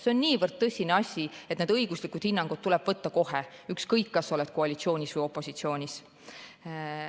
See on niivõrd tõsine asi, et need õiguslikud hinnangud tuleb võtta kohe, ükskõik, kas oled koalitsioonis või opositsioonis.